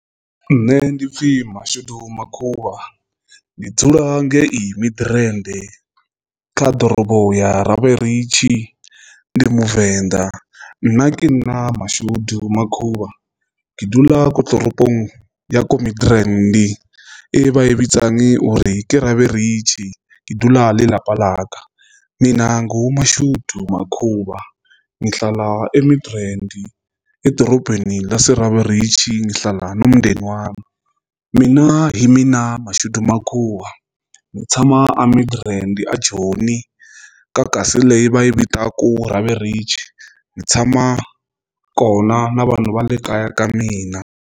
Nṋe ndi pfhi Mashudu Makhuvha ndi dzula ngei Midrand kha ḓorobo ya Raberich ndi Muvenḓa. Nna ke nna Mashudu Makhuvha ke dula ko toropong ya ko Mindrand e ba i betsang ori ke Raberich ke dula le lapa laka. Minanghu Mashudu Makhuvha nghi hlalae Midrand edorobeni laseRaberich nghihlala nombdeni wami. Mina hi mina Mashudu Makhuvha nitsama a Midrand a joni kakasi leyi vai Raberich nitsama na vanhu valekaya ka mina.